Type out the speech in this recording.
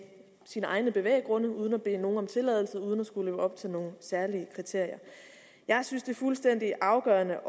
sine egne bevæggrunde uden at bede nogen om tilladelse og uden at skulle leve op til nogen særlige kriterier jeg synes det er fuldstændig afgørende